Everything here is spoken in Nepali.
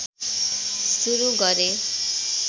सुरु गरे